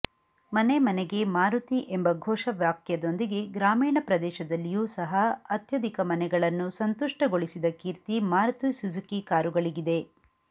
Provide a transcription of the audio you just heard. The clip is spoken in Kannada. ಮನೆ ಮನೆಗೆ ಮಾರುತಿ ಎಂಬ ಘೋಷವಾಕ್ಯದೊಂದಿಗೆ ಗ್ರಾಮೀಣ ಪ್ರದೇಶದಲ್ಲಿಯೂ ಸಹ ಅತ್ಯಧಿಕ ಮನೆಗಳನ್ನು ಸಂತುಷ್ಟಗೊಳಿಸಿದ ಕೀರ್ತಿ ಮಾರುತಿ ಸುಜುಕಿ ಕಾರುಗಳಿಗಿದೆ